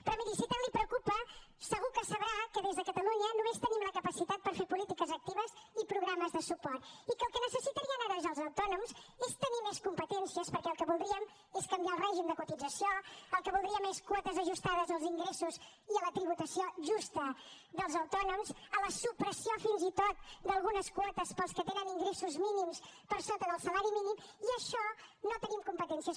però miri si tant la preocupa segur que sabrà que des de catalunya només tenim la capacitat per fer polítiques actives i programes de suport i que el que necessitarien ara els autònoms és tenir més competències perquè el que voldríem és canviar el règim de cotització el que voldríem és quotes ajustades als ingressos i a la tributació justa dels autònoms a la supressió fins i tot d’algunes quotes per als que tenen ingressos mínims per sota del salari mínim i en això no hi tenim competències